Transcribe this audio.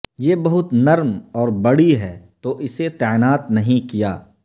یہ بہت نرم اور بڑی ہے تو اسے تعینات نہیں کیا